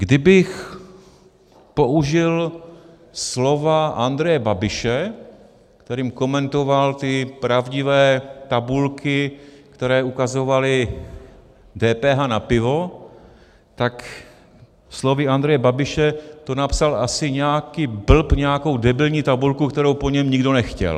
Kdybych použil slova Andreje Babiše, kterými komentoval ty pravdivé tabulky, které ukazovaly DPH na pivo, tak slovy Andreje Babiše to napsal asi nějaký blb nějakou debilní tabulku, kterou po něm nikdo nechtěl.